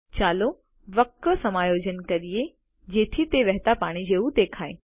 ચાલો વક્ર સમાયોજન કરીએ જેથી તે વહેતા પાણી જેવું દેખાય